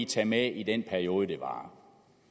tage med i den periode det varer